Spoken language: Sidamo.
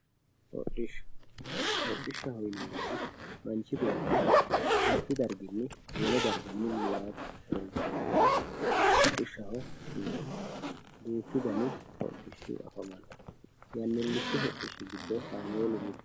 hodhishsha, hodhishsha yinannihu manch beetti mittu darginni wole darga milli yaate horonsi'rannoha hodhishshaho yineemmo, duuchu dani hodhishshi afamanno, yannilichu hodhishshi giddo kaameelu mittoho.